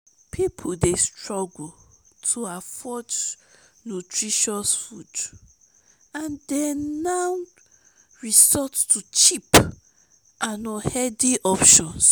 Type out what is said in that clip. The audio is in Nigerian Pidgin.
people dey struggle to afford nutritious food and dem now resort to cheap and unhealthy options.